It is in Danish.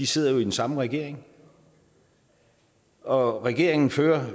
sidder jo i den samme regering og regeringen fører